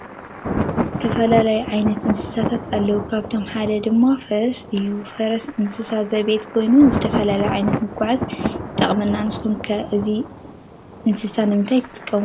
ዝተፈላለዩ ዓይነት እነስሳታት አለው ካብአቶም ሓደ ድማ ፈረስ እዩ። ፈረስ እንስሳ ዜቤት ኮይኑ ንዝተፈላለዩ ዓየነት መጎዓዝያ የጠቅመና ንስኩም ከ እዚ እንስሳ ንምንታይ ትጥቀሙሉ?